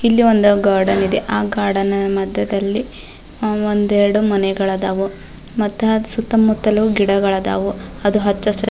ಇಲ್ಲಿ ಒಂದು ಗಾರ್ಡನ್ ಇದೆ ಆ ಗಾರ್ಡನ್ ನ ಮಧ್ಯದಲ್ಲಿ ಒಂದೆರಡು ಮನೆಗಳದಾವು ಮತ್ತ ಸುತ್ತಮುತ್ತಲು ಗಿಡಗಳದಾವು ಅದು ಹಚ್ಚ ಹಸಿರು --